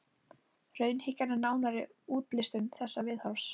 raunhyggjan er nánari útlistun þessa viðhorfs